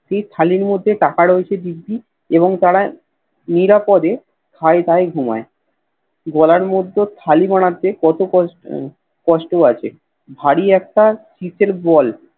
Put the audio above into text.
সেই থালির মধ্যে কাটা রইছে দিব্যি এবং তারা নিরাপদে খায় দায় ঘুমাই গলার মধ্যে থালি বানাতে কত কষ্ট আছে ভারী একটা চিতের বল